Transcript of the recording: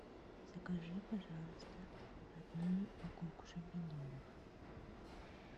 закажи пожалуйста одну упаковку шампиньонов